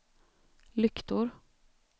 lyktor